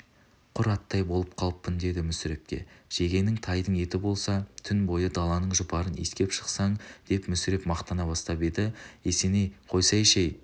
құр аттай болып қалыппын деді мүсірепке жегенің тайдың еті болса түн бойы даланың жұпарын иіскеп шықсаң деп мүсіреп мақтана бастап еді есенейқойсайшы-әй